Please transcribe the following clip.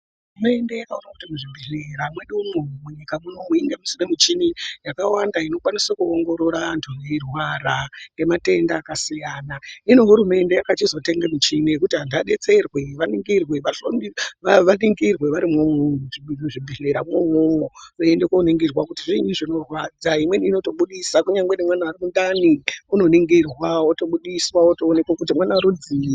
Hurumende yakaona kuti muzvibhedhlera mwedu umo munyika mwunomu tinode muchini yakawanda inokwanisa kuongorora anthu eirwara ngematenda akasiyana. Hino hurumende yakachizotenga michini yokuti anthu adetserwe vaningirwe varimwo muzvibhedhleramwo imwomwo veienda koningirwa kuti zviini zvinorwadza. Imweni inotobudisa kunyange nemwana ari mundani unoningirwa wotobudiswa wotoonekwa kuti mwana rudzii.